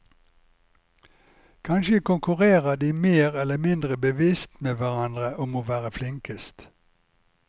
Kanskje konkurrerer de mer eller mindre bevisst med hverandre om å være flinkest.